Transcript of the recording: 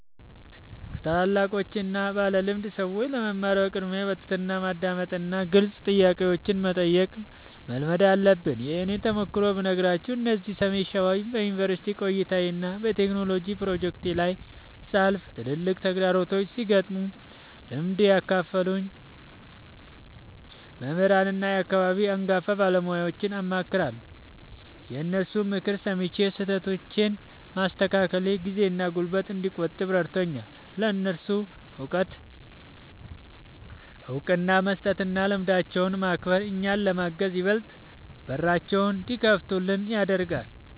ከታላላቆችና ባለልምድ ሰዎች ለመማር በቅድሚያ በትሕትና ማዳመጥንና ግልጽ ጥያቄዎችን መጠየቅን መልመድ አለብን። የእኔን ተሞክሮ ብነግራችሁ፤ እዚህ ሰሜን ሸዋ በዩኒቨርሲቲ ቆይታዬና በቴክኖሎጂ ፕሮጀክቶቼ ላይ ሳልፍ፣ ትላልቅ ተግዳሮቶች ሲገጥሙኝ ልምድ ያላቸውን መምህራንና የአካባቢውን አንጋፋ ባለሙያዎችን አማክራለሁ። የእነሱን ምክር ሰምቼ ስህተቶቼን ማስተካከሌ ጊዜና ጉልበት እንድቆጥብ ረድቶኛል። ለእነሱ እውቀት እውቅና መስጠትና ልምዳቸውን ማክበር፣ እኛን ለማገዝ ይበልጥ በራቸውን እንዲከፍቱልን ያደርጋል።